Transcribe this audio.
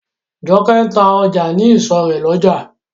Jokẹ́ ń ta ọjà ní ìsọ̀ rè lójà.